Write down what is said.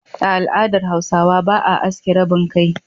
A al'adar Hausawa, ba a aske rabin kai.